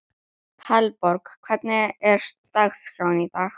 Hallborg, hvernig er dagskráin í dag?